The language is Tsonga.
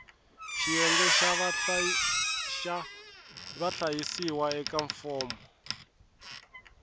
xiyenge xa vahlayisiwa eka fomo